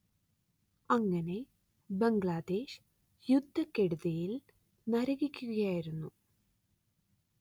അങ്ങനെ ബംഗ്ലാദേശ് യുദ്ധക്കെടുതിയിൽ നരകിക്കുകയായിരുന്നു